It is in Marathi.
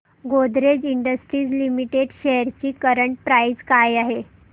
गोदरेज इंडस्ट्रीज लिमिटेड शेअर्स ची करंट प्राइस काय आहे